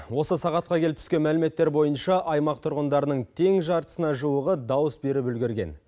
осы сағатқа келіп түскен мәліметтер бойынша аймақ тұрғындарының тең жартысына жуығы дауыс беріп үлгерген